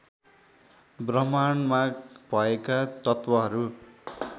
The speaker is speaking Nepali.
ब्रह्माण्डमा भएका तत्त्वहरू